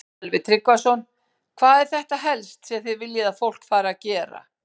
Sölvi Tryggvason: Hvað er þetta helst sem þið viljið að fólk fari að gera?